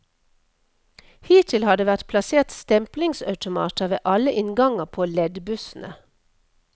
Hittil har det vært plassert stemplingsautomater ved alle innganger på leddbussene.